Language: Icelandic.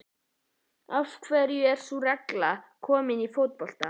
Af hverju er sú regla ekki komin í fótbolta?